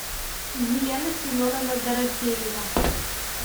елена семеновна дорофеева